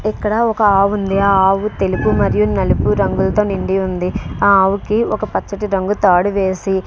ఇక్కడ ఒక ఆవు ఉంది ఆ ఆవు తెలుపు మరియు నలుపు రంగులతో నిండి ఉంది ఆ ఆవు కి ఒక పచ్చటి రంగు తాడు వేసి --